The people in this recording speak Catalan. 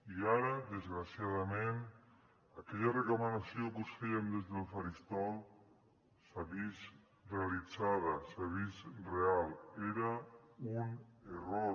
i ara desgraciadament aquella recomanació que us fèiem des del faristol s’ha vist realitzada s’ha vist real era un error